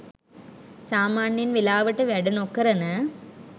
සාමාන්‍යයෙන් වෙලාවට වැඩ නොකරන